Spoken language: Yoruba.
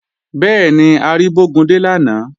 Bẹ́ẹ̀ni, a rí Bógúndé lánàá